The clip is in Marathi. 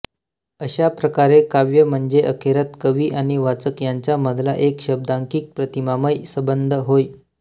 अशाप्रकारे काव्य म्हणजे अखेरत कवी आणि वाचक यांच्यामधला एक शब्दांकित प्रतिमामय संबंध होय